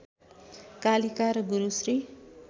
कालिका र गुरु श्री